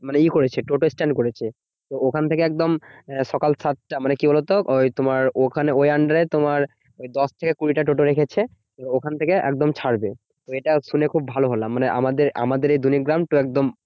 মানে ই করেছে টোটোস্ট্যান্ড করেছে। তো ওখান থেকে একদম সকাল সাতটা মানে কি বলতো? ওই তোমার ওখানে ওই under এ তোমার ওই দশ থেকে কুড়িটা টোটা রেখেছে। ওখান থেকে একদম ছাড়বে। এটা শুনে খুব ভালো হলাম মানে আমাদের আমাদের এই দলিগ্রাম তো একদম